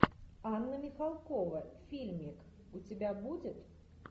анна михалкова фильм у тебя будет